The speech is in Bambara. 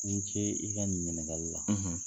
I ni ce i ka nin ɲiniŋali la !